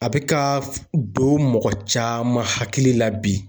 A bɛ ka f don mɔgɔ caman hakili la bi